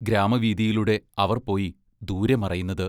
ഗ്രാമവീഥിയിലൂടെ അവർ പോയി ദൂരെ മറയുന്നത്.